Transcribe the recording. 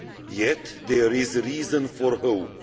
Yet, there is reason for hope.